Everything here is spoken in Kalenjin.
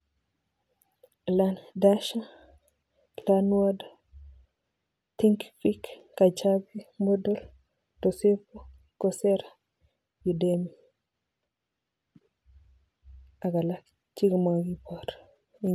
Learn dash, learn worlds, think fic, kajabi, moodle, docebo, cosera, udemy ak alak chemakibor.